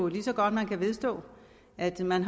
lige så godt man kan vedstå at man